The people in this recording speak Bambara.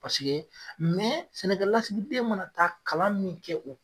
Paseke sɛnɛkɛlasigiden mana taa kalan min kɛ o